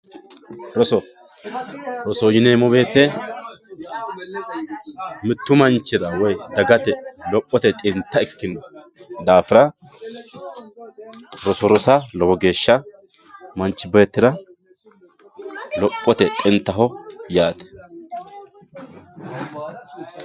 Roso, rosoho yineemmo woyte mitu manchira woyi dagate lophote xinta ikkino daafira roso rosa lowo geeshsha manchi beettira lophote xintaho yaate.